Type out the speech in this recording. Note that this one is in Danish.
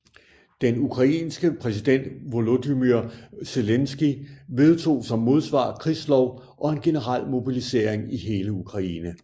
Den ukrainske præsident Volodymyr Zelenskyj vedtog som modsvar krigslov og en generel mobilisering i hele Ukraine